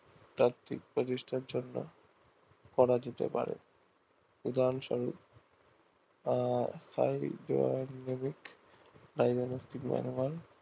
তাত্বিক প্রতিষ্ঠার জন্যে করা যেতে পারে উদাহারণ সরূপ